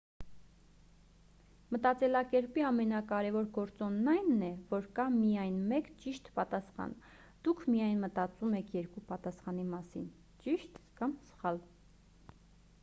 մտածելակերպի ամենակարևոր գործոնն այն է որ կա միայն մեկ ճիշտ պատասխան դուք միայն մտածում եք երկու պատասխանի մասին ճիշտ կամ սխալ